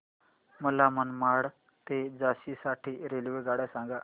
मला मनमाड ते झाशी साठी रेल्वेगाड्या सांगा